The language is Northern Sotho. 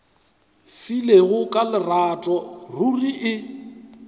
filego ka lerato ruri e